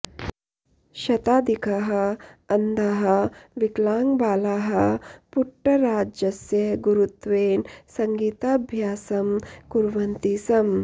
शताधिकाः अन्धाः विकलाङ्गबालाः पुट्टराजस्य गुरुत्वेन सङ्गीताभ्यासं कुर्वन्ति स्म